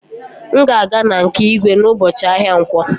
M ga-aga na nke igwe n'ụbọchị ahịa nkwọ